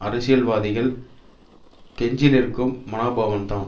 அரசியல்வாதிகள் கெஞ்சிநிற்கும் மனோபாவம் தான்